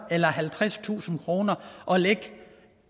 eller halvtredstusind kroner og lægge